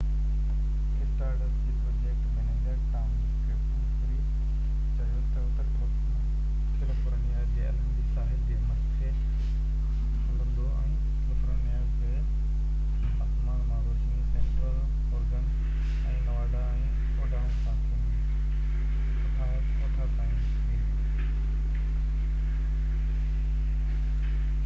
star dust جي project manager Tom Duxbury چيو تہ، اتر ڪيليفورنيا جي الهندي ساحل جي مٿي هلندو ۽ ڪيليفورنيا کان آسمان مان روشني سينٽرل اوريگون ۽ نواڊا ۽ اڊاهو کان ٿيندي اوٺا تائين ويندي